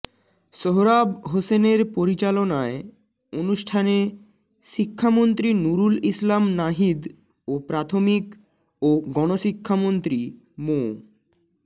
সোহরাব হোসেনের পরিচালনায় অনুষ্ঠানে শিক্ষামন্ত্রী নুরুল ইসলাম নাহিদ ও প্রাথমিক ও গণশিক্ষা মন্ত্রী মো